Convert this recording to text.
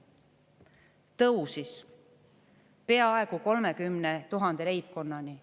See tõusis peaaegu 30 000 leibkonnani.